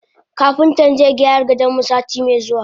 Kapintan zaigyara gadonmu sati me zuwa.